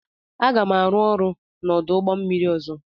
Aga m arụ ọrụ n'ọdụ ụgbọ mmiri ọzọ.